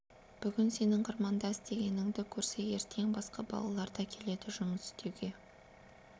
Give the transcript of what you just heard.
бүгін сенің қырманда істегеніңді көрсе ертең басқа балалар да келеді жұмыс істеуге